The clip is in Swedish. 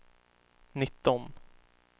nitton